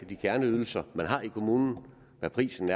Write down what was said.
de kerneydelser man har i kommunen og hvad prisen